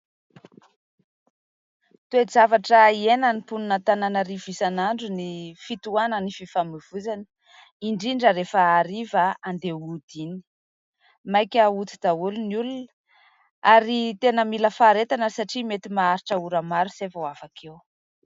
Toe-javatra iainan'ny mponin'Antananarivo isanandro ny fitohanan'ny fifamoivoizana indrindra rehefa hariva handeha hody iny. Maika hody daholo ny olona ary tena mila faharetana satria mety maharitra ora maro izay vao afaka eo.